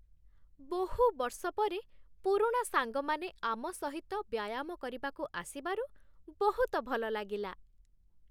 ବହୁ ବର୍ଷ ପରେ ପୁରୁଣା ସାଙ୍ଗମାନେ ଆମ ସହିତ ବ୍ୟାୟାମ କରିବାକୁ ଆସିବାରୁ ବହୁତ ଭଲ ଲାଗିଲା।